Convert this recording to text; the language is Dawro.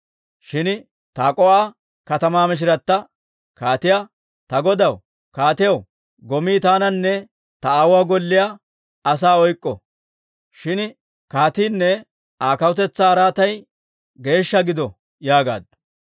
Shin Tak'o"a katamaa mishirata kaatiyaa, «Ta godaw kaatiyaw, gomii taananne ta aawuwaa golliyaa asaa oyk'k'o; shin kaatiinne Aa kawutetsaa araatay geeshsha gido» yaagaaddu.